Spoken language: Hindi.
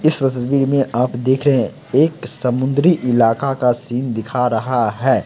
इस तस्वीर में आप देख रहै है एक समुंद्री इलाका का सीन दिखा रहा है।